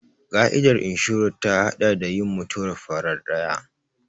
Ƙa'idar inshorar ta haɗa da yin mutuwar farar ɗaya.